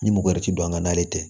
Ni mɔgo yɛrɛ ti don an ga n'ale tɛ